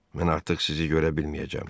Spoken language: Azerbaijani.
Mən artıq sizi görə bilməyəcəm.